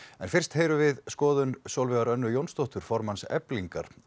en fyrst heyrum við skoðun Sólveigar Önnu Jónsdóttur formanns Eflingar á